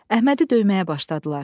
Əhmədi döyməyə başladılar.